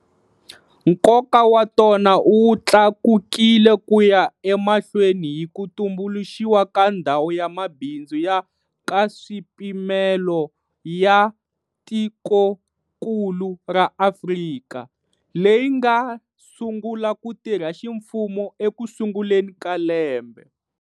Nkoka wa tona wu tlakukile ku ya emahlweni hi ku tumbuluxiwa ka Ndhawu ya Mabindzu ya Nkaswipimelo ya Tikokulu ra Afrika, leyi nga sungula ku tirha ximfumo ekusunguleni ka lembe.